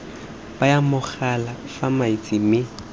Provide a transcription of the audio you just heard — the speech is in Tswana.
baya mogala fa fatshe mme